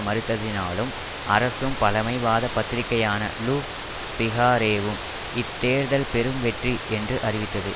மறுத்ததினாலும் அரசும் பழமைவாத பத்திரிகையான லு பிகாரேவும் இத் தேர்தல் பெரும் வெற்றி என்று அறிவித்தது